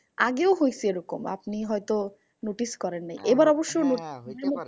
আগেও হয়েসে এরকম আপনি হয়তো notice করেন নি। এবার অবশ্য